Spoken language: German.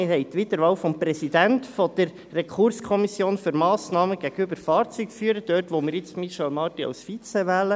Wir haben die Wiederwahl des Präsidenten der RKMF – dort, wo wir jetzt Michèle Marti als Vize wählen.